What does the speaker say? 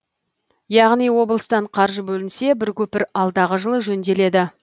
яғни облыстан қаржы бөлінсе бір көпір алдағы жылы жөнделеді